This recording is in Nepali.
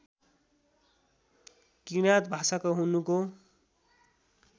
किराँत भाषाको हुनुको